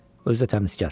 Özü də təmizkar.